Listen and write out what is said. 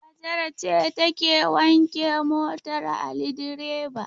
Hajara ce take wanke motar Ali direba.